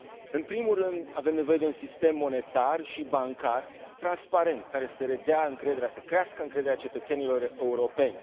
În primul rând, avem nevoie de un sistem monetar și bancar transparent, care să redea încrederea, să crească încrederea cetățenilor europeni